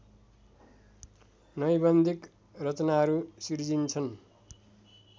नैबन्धिक रचनाहरू सिर्जिन्छन्